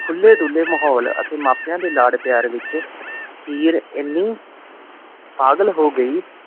ਖੁਲੇ ਦੁਲੇ ਮਾਹੌਲ ਅਤੇ ਮੈ ਪੁਉ ਦੇ ਲਾਡ ਪਿਆਰ ਵਿਚ ਹੀਰ ਏਨੀ ਪਾਗਲ ਹੋ ਗਈ